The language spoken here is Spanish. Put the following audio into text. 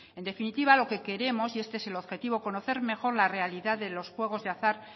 en definitiva lo que queremos y este es el objetivo es conocer mejor la realidad de los juegos de azar